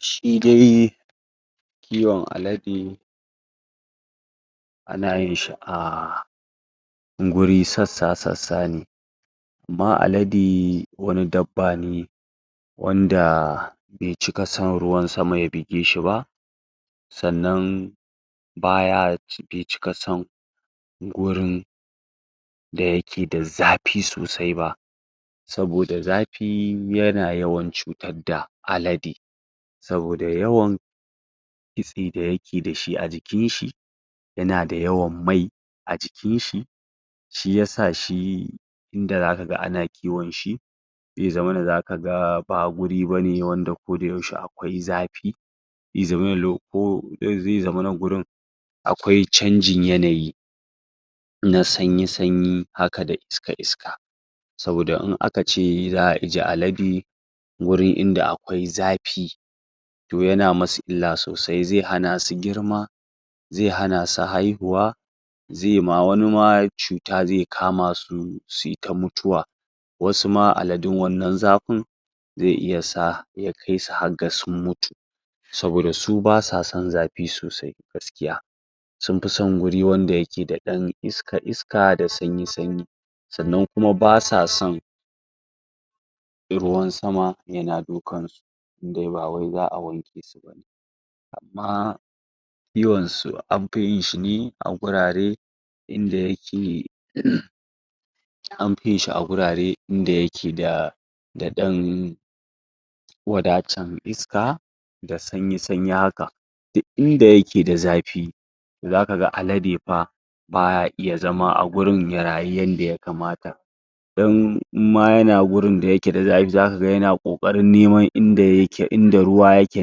shi dai kiwon alade ana yin shi a guri sassa sassa ne amma alade wani dabba ne wanda bai cika san ruwan sama ya bige shi ba sannan baya ci bai cika san gurin da yake da zapi sosai ba saboda zapi yana yawan cutar da alade saboda yawan kitse da yake dashi a jikin shi yana da yawan mai a jikinshi shiyasa shi inda zaka ga ana kiwonshi zai zamana zaka ga ba guri bane wanda kodayaushe akwai zapi zai zamana lo ko zai mana gurin akwai canjin yanayi na sanyi sanyi haka da iska iska saboda in akace za'a ije alade gurin inda akwai zapi to yana musu illa sosai zai hana su girma zai hana su haihuwa zai ma wani ma cuta zai kama su suyi ta mutuwa wasu ma aladun wannan zapin zai iya sa ya kai su har ga sun mutu saboda su basa son zapi sosai gaskiya sun pi son guri wanda yake da ɗan iska iska da sanyi sanyi sannan kuma basa son ruwan sama yana dukansu in de ba wai za'a wanke su bane amma kiwon su an pi yin shi ne a gurare inda yake? an pi yin shi a gurare inda yake da da ɗan wadatan iska da sanyi sanyi haka duk inda yake da zapi zaka ga alade pa baya iya zama a gurin ya rayu yanda yakamata don in ma yana gurin da yake da zapi zaka ga yana ƙoƙarin neman inda yake inda ruwa yake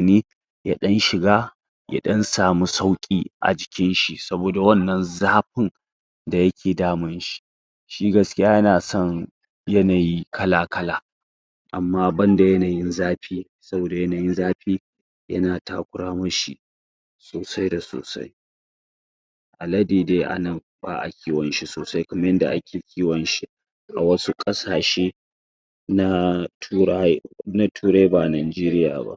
ne ya ɗan shiga ya ɗan samu sauƙi a jikinshi saboda wannan zapin da yake damunshi shi gaskiya yana son yanayi kala kala amma banda yanayin zapi saboda yanayin zapi yana takura mishi sosai da sosai alade dai a nan ba'a kiwon shi sosai kaman yanda ake kiwon shi a wasu ƙasashe na turaw na turai na Nanjeriya ba